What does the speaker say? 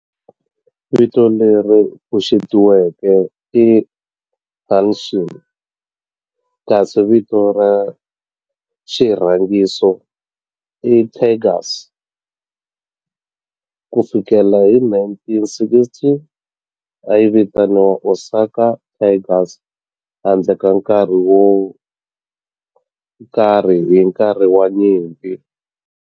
Vito leri pfuxetiweke i Hanshin kasi vito ra xirhangiso i Tigers. Ku fikela hi 1960, a yi vitaniwa Osaka Tigers handle ka nkarhi wo karhi hi nkarhi wa nyimpi.